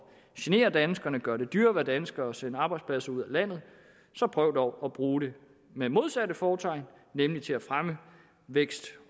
genere danskerne gøre det dyrere at være dansker og sende arbejdspladser ud af landet så prøv dog at bruge det med modsat fortegn nemlig til at fremme vækst